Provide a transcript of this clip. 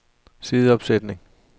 sideopsætning